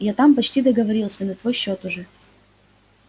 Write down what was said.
я там почти договорился на твой счёт уже